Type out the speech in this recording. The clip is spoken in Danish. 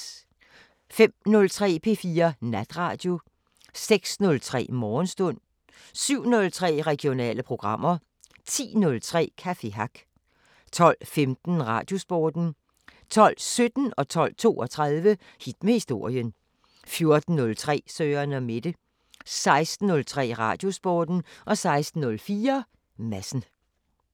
05:03: P4 Natradio 06:03: Morgenstund 07:03: Regionale programmer 10:03: Café Hack 12:15: Radiosporten 12:17: Hit med historien 12:32: Hit med historien 14:03: Søren & Mette 16:03: Radiosporten 16:04: Madsen